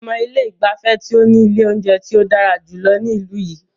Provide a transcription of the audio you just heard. Mo mọ ilé ìgbafẹ́ tí o ní ilé oúnjẹ tí o dára jùlọ ní ìlú yìí.